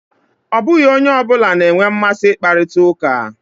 Ọ bụghị onye ọ bụla na-enwe mmasị ị kparita ụka.